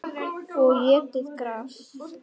Og étið gras.